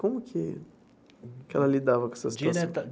Como que que ela lidava com essa situação?